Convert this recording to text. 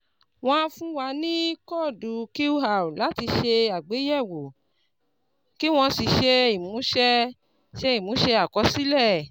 Wọ́n á fún wa ní kóódù QR láti ṣe àgbéyẹ̀wò, kí wọ́n sì ṣe ìmúṣẹ ṣe ìmúṣẹ àkọsílẹ̀